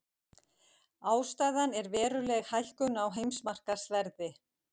Ástæðan er veruleg hækkun á heimsmarkaðsverði